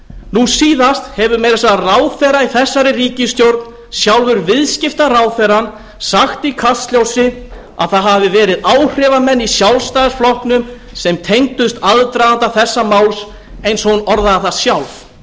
nú síðast hefur meira að segja ráðherra í þessari ríkisstjórn sjálfur viðskiptaráðherrann sagt í kastljósi að það hafi verið áhrifamenn í sjálfstæðisflokknum sem tengdust aðdraganda þessa máls eins og hún orðaði það sjálf